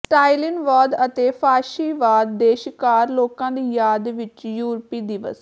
ਸਟਾਲਿਨਵਾਦ ਅਤੇ ਫਾਸ਼ੀਵਾਦ ਦੇ ਸ਼ਿਕਾਰ ਲੋਕਾਂ ਦੀ ਯਾਦ ਵਿੱਚ ਯੂਰਪੀ ਦਿਵਸ